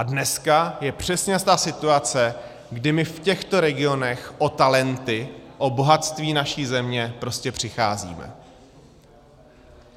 A dneska je přesně ta situace, kdy my v těchto regionech o talenty, o bohatství naší země, prostě přicházíme.